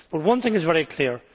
But one thing is very clear.